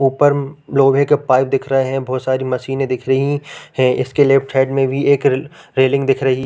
ऊपर लोहे के पाइप दिख रहे है बहुत सारी मशीने दिख रही है इसके लेफ्ट साइड में भी एक रेलिंग दिख रही --